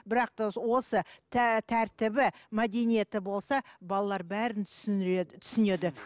бірақ та осы тәртібі мәдениеті болса балалар бәрін түсіндіреді түсінеді